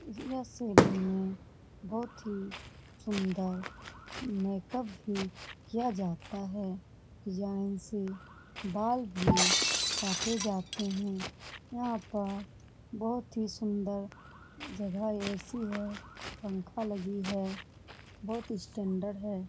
ये सैलून में बहुत ही सुंदर मेकअप भी किया जाता है डिज़ाइन से बाल भी काटे जाते है यह पर बहुत ही सुंदर जगह ए.सी. है पंखा लगी है बहुत स्टैण्डर्ड है ।